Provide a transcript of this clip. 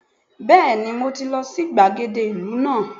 Bẹ́ẹ̀ni mọ ti lọ sí gbàgede ìlú náà